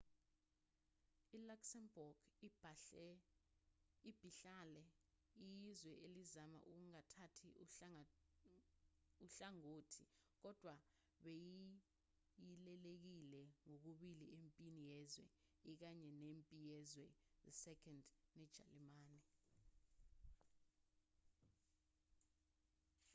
iluxembourg ibihlale iyizwe elizama ukungathathi uhlangothi kodwa beyihilelekile kokubili empini yezwe i kanye nempi yezwe ii nejalimane